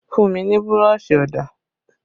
Fun mi ni burọ̀ṣì ọ̀dà!